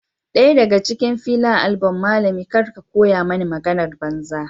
Daya daga cikin Fela abulm malami kar ka koya mani maganar banza